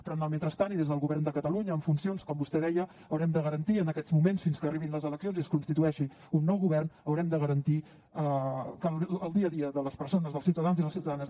però en el mentrestant i des del govern de catalunya en funcions com vostè deia haurem de garantir en aquests moments fins que arribin les eleccions i es constitueixi un nou govern haurem de garantir que el dia a dia de les persones dels ciutadans i les ciutadanes